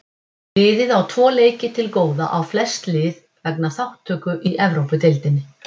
Liðið á þó tvo leiki til góða á flest lið vegna þátttöku í Evrópudeildinni.